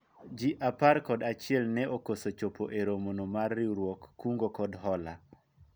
jii apar kod achiel ne okoso chopo e romo no mar riwruog kungo kod hola